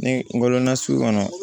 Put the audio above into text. Ni ngɔɔn na sugu kɔnɔ